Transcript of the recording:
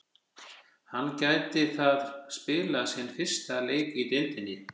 Hann gæti þar spilað sinn fyrsta leik í deildinni.